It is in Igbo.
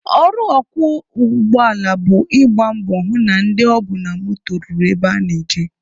Ọrụ ọkwọ ụgbọala bụ ị gba mbọ hụ na ndị o bu na moto ruru ebe ha na-eje.